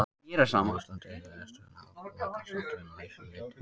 Á Íslandi hefur hesturinn aðlagast náttúrunni að ýmsu leyti.